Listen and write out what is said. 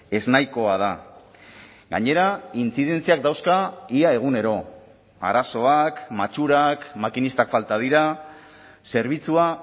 eznahikoa da gainera intzidentziak dauzka ia egunero arazoak matxurak makinistak falta dira zerbitzua